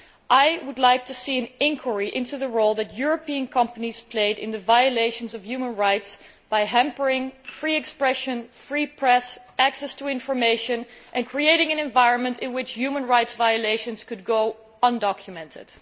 I would like to see an inquiry into the role that European companies played in the violations of human rights by hampering free expression, a free press and access to information and creating an environment in which human rights violations could go undocumented.